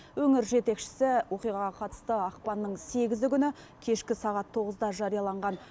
өңір жетекшісі оқиғаға қатысты ақпанның сегізі күні кешкі сағат тоғызда жарияланған